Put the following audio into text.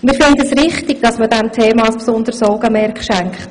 Wir finden es richtig, dass man diesem Thema besonderes Augenmerk schenkt.